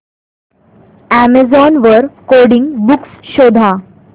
Amazon वर coding books शोधा